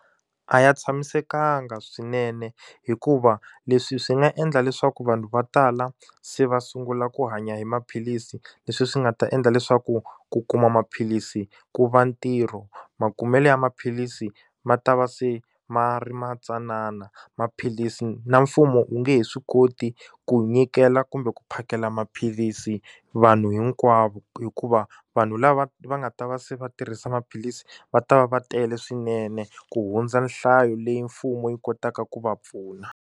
A ya tshamisekanga swinene hikuva leswi swi nga endla leswaku vanhu vo tala se va sungula ku hanya hi maphilisi leswi swi nga ta endla leswaku ku kuma maphilisi ku va ntirho makumelo ya maphilisi ma ta va se ma ri ma tsanana maphilisi na mfumo wu nge he swi koti ku nyikela kumbe ku phakela maphilisi vanhu hinkwavo hikuva vanhu lava va nga ta va se va tirhisa maphilisi va ta va va tele swinene ku hundza nhlayo leyi mfumo yi kotaka ku va pfuna.